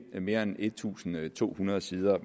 mere end en tusind to hundrede sider